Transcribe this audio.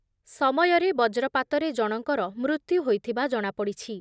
ସମୟରେ ବଜ୍ରପାତରେ ଜଣଙ୍କର ମୃତ୍ୟୁ ହୋଇଥିବା ଜଣାପଡ଼ିଛି ।